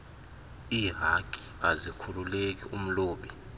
ihaki azikhululeki umlobi